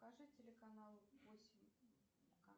покажи телеканал осень